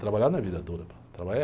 Trabalhar não é vida dura. Trabalhar é